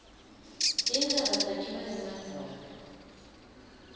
tintsaba takhiwe ngemadvwala